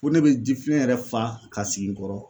Fo ne bi jifilen yɛrɛ fa ka sigi n kɔrɔ.